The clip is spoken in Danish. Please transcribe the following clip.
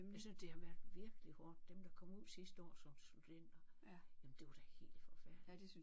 Jeg synes det har været virkelig hårdt dem der kom ud sidste år som studenter jamen det var da helt forfærdeligt